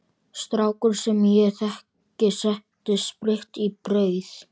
Strákur sem ég þekki setti spritt í brauð.